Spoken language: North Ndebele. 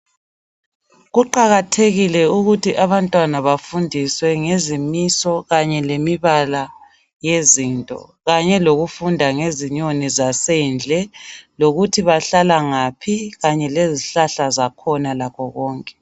Kuqakathekile ukuthi abantwana bafundiswe ngezimiso kanye lemibala yezinto, kanye lokufunda ngezinyoni zasendle lokuthi bahlala ngaphi kanye lezihlahla zakhona lakho konke.